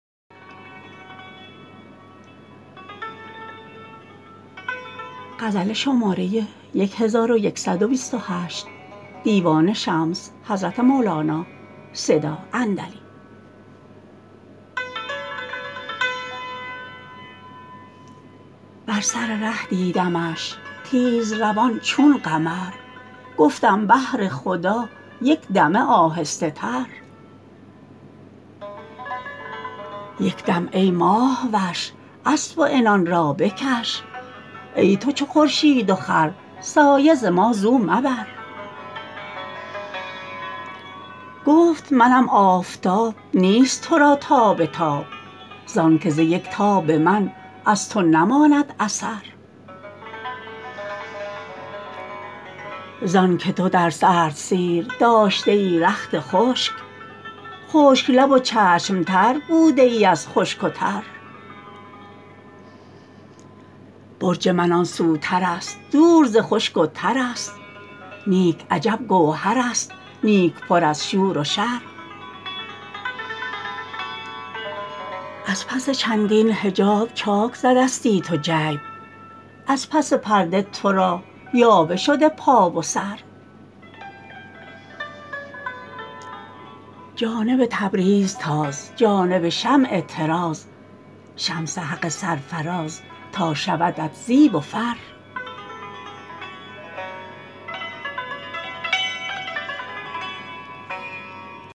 بر سر ره دیدمش تیزروان چون قمر گفتم بهر خدا یک دمه آهسته تر یک دم ای ماه وش اسب و عنان را بکش ای تو چو خورشید و خور سایه ز ما زو مبر گفت منم آفتاب نیست تو را تاب تاب زانک ز یک تاب من از تو نماند اثر زانک تو در سردسیر داشته ای رخت خشک خشک لب و چشم تر بوده ای از خشک و تر برج من آن سوترست دور ز خشک و ترست نیک عجب گوهرست نیک پر از شور و شر از پس چندین حجاب چاک زدستی تو جیب از پس پرده تو را یاوه شده پا و سر جانب تبریز تاز جانب شمع طراز شمس حق سرفراز تا شودت زیب و فر